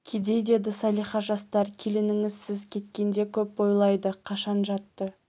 кедей деді салиха жастар келініңіз сіз кеткенде көп ойлайды қашан жатты